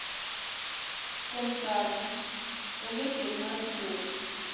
Kuom sani onge thieth mar tuwono.